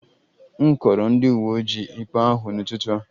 M kọọrọ ndị uwe ojii ikpe ahụ n'ụtụtụ a